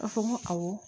A fɔ n ko awɔ